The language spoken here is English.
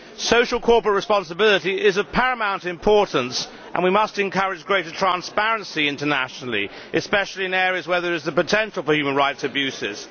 Social corporate responsibility is of paramount importance, and we must encourage greater transparency internationally, especially in areas where there is the potential for human rights abuses